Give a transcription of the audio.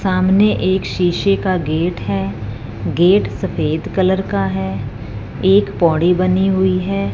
सामने एक शीशे का गेट है गेट सफेद कलर का है एक पौड़ी बनी हुई है।